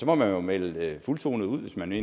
må jo melde fuldtonet ud hvis man